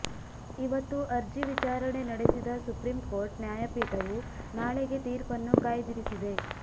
ಇವತ್ತು ಅರ್ಜಿ ವಿಚಾರಣೆ ನಡೆಸಿದ ಸುಪ್ರೀಂ ಕೋರ್ಟ್ ನ್ಯಾಯಪೀಠವು ನಾಳೆಗೆ ತೀರ್ಪನ್ನು ಕಾಯ್ದಿರಿಸಿದೆ